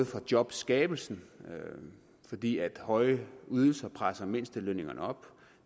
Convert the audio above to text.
for jobskabelsen fordi høje ydelser presser mindstelønningerne op og